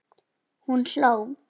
Hún hló.